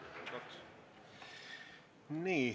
Aitäh!